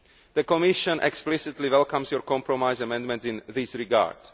The Commission explicitly welcomes your compromise amendments in this regard.